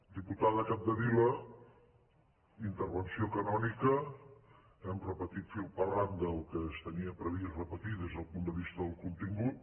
diputada capdevila intervenció canònica hem repetit fil per randa el que es tenia previst repetir des del punt de vista del contingut